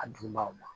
A dunbaaw ma